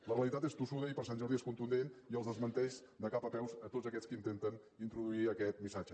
la realitat és tossuda i per sant jordi és contundent i els desmenteix de cap a peus a tots aquests que intenten introduir aquest missatge